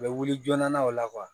U bɛ wuli joona o la